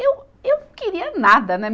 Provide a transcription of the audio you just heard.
Eu, eu queria nada, né?